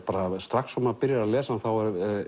strax og maður byrjar að lesa hann þá